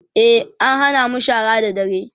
e an Hana mu shara da dadre